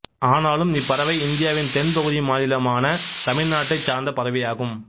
ஆனாலும் இப்பறவை இந்தியாவின் தென் பகுதி மாநிலமான தமிழ்நாட்டைச் சார்ந்த பறவையாகும்